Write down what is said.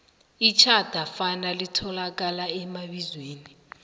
itjhadafana litholakala emabizweni